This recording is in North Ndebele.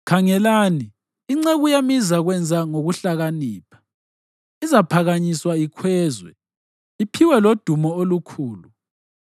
Khangelani, inceku yami izakwenza ngokuhlakanipha, izaphakanyiswa ikhwezwe, iphiwe lodumo olukhulu.